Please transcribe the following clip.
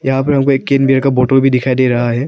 यहां पर हमको एक कैन बियर का बोटल भी दिखाई दे रहा है।